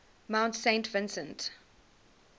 mount saint vincent